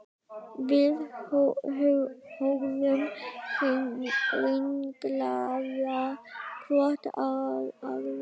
Við horfðum ringlaðar hvor á aðra.